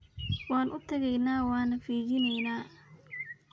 Wan utaqenyhy wana fijineyna.